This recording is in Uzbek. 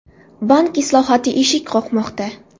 Bank islohoti eshik qoqmoqda.